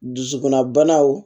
Dusukunna banaw